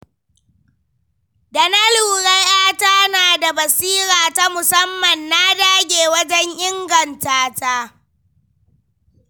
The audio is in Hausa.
Da na lura ‘yata na da basira ta musamman, na dage wajen ingantata..